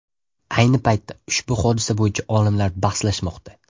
Ayni paytda ushbu hodisa bo‘yicha olimlar bahslashmoqda.